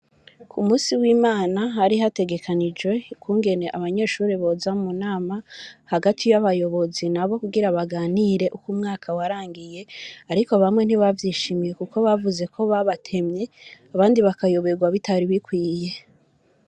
Ku musi wi Imana hari hategekanijwe ukungene abanyeshuri boza mu nama hagati y'abayobozi nabo kugira baganire uko umwaka warangiye ariko bamwe ntibavyishimiye kuko bavuze ko babatemye abandi bakayoberwa bitari bikwiye.